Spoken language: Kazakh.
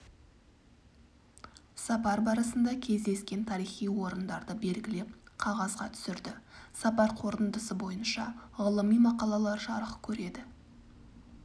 сапар барысында кездескен тарихи орындарды белгілеп қағазға түсірді сапар қорытындысы бойынша ғылыми мақалалар жарық көреді